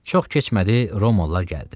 Çox keçmədi Romalılar gəldi.